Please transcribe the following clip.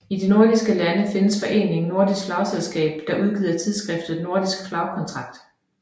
I de nordiske lande findes foreningen Nordisk Flagselskab der udgiver tidsskriftet Nordisk Flaggkontakt